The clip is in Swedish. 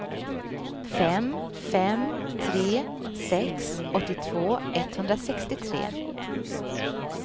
fem fem tre sex åttiotvå etthundrasextiotre